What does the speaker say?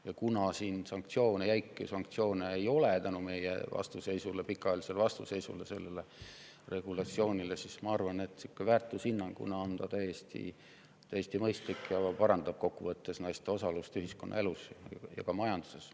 Ja kuna siin jäiku sanktsioone enam ei ole tänu meie vastuseisule, meie pikaajalisele vastuseisule sellele regulatsioonile, siis ma arvan, et väärtushinnangute poolest on ta täiesti mõistlik ning kokkuvõttes parandab naiste osalust ühiskonnaelus ja ka majanduses.